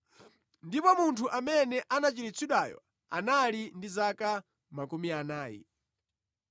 Ndipo munthu amene anachiritsidwayo anali ndi zaka makumi anayi.